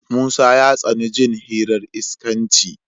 Musa ya tsani jin hirar iskanci.